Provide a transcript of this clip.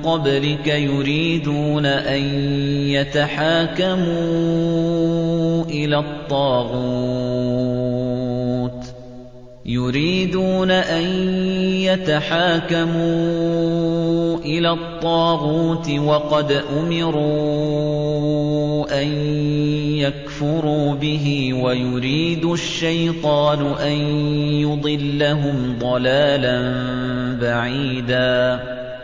قَبْلِكَ يُرِيدُونَ أَن يَتَحَاكَمُوا إِلَى الطَّاغُوتِ وَقَدْ أُمِرُوا أَن يَكْفُرُوا بِهِ وَيُرِيدُ الشَّيْطَانُ أَن يُضِلَّهُمْ ضَلَالًا بَعِيدًا